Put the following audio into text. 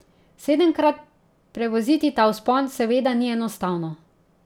Sedemkrat prevoziti ta vzpon seveda ni enostavno.